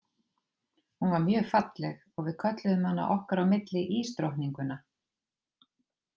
Hún var mjög falleg og við kölluðum hana okkar á milli ísdrottninguna.